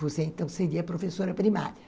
Você então seria professora primária.